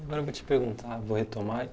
Agora vou te perguntar, vou retomar.